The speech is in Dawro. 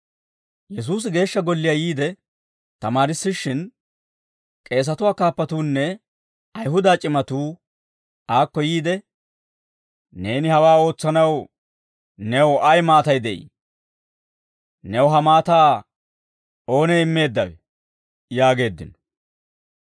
Yesuusi Geeshsha Golliyaa yiide tamaarissishshin, k'eesatuwaa kaappatuunne Ayihuda c'imatuu aakko yiide, «Neeni hawaa ootsanaw new ay maatay de'ii? New ha maataa oonee immeeddawee?» yaageeddino.